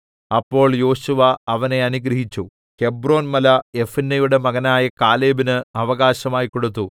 അപ്പോൾ യോശുവ അവനെ അനുഗ്രഹിച്ചു ഹെബ്രോൻമല യെഫുന്നെയുടെ മകനായ കാലേബിന് അവകാശമായി കൊടുത്തു